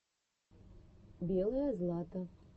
белое злато